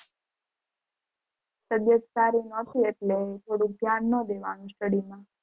તબિયત સારી નોતી એટલે થોડુંક ધ્યાન ના દેવાણું study માં.